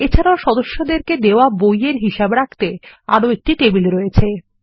এছাড়াও সদস্যদেরকে দেওয়াবই এর হিসাব রাখতে আরো একটা টেবিল রয়েছে